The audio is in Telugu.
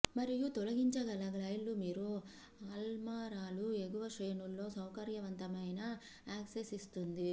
మరియు తొలగించగల గైడ్లు మీరు అల్మారాలు ఎగువ శ్రేణుల్లో సౌకర్యవంతమైన యాక్సెస్ ఇస్తుంది